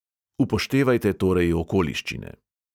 Upoštevajte torej okoliščine.